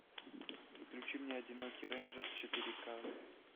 включи мне одинокий рейнджер четыре ка